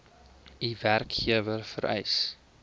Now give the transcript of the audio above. u werkgewer vereis